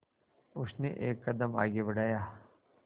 उसने एक कदम आगे बढ़ाया